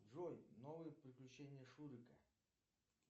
джой новые приключения шурика